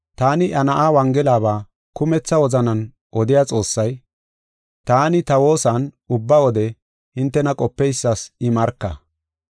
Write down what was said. Taani iya Na7aa wongelaba kumetha wozanan odiya Xoossay, taani ta woosan ubba wode hintena qopeysas I marka.